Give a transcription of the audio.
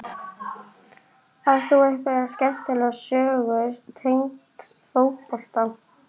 Átt þú einhverja skemmtilega sögur tengda fótbolta?